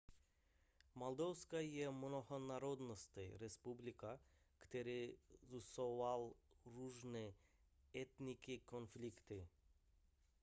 moldavsko je mnohonárodnostní republika kterou sužovaly různé etnické konflikty